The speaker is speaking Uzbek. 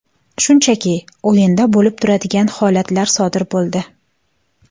Shunchaki, o‘yinda bo‘lib turadigan holatlar sodir bo‘ldi.